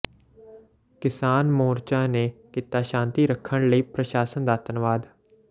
ਕਿਸਾਨ ਮੋਰਚਾ ਨੇ ਕੀਤਾ ਸ਼ਾਂਤੀ ਰੱਖਣ ਲਈ ਪ੍ਰਸ਼ਾਸਨ ਦਾ ਧੰਨਵਾਦ